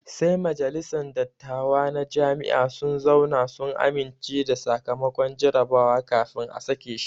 Sai majalisan dattawa na Jami'a sun zauna sun amince da sakamakon jarabawa kafin a sake shi